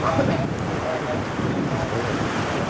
вот ну то есть такая как-бы своя